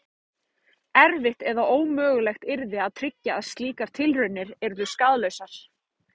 Erfitt eða ómögulegt yrði að tryggja að slíkar tilraunir yrðu skaðlausar.